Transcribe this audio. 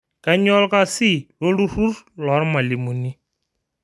Kainyoo olkasi lolturrur loolmalimuni